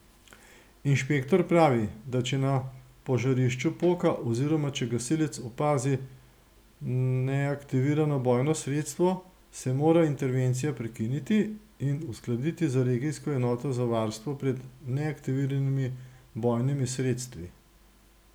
Inšpektor pravi, da če na požarišču poka oziroma če gasilec opazi neaktivirano bojno sredstvo, se mora intervencija prekiniti in uskladiti z regijsko enoto za varstvo pred neaktiviranimi bojnimi sredstvi.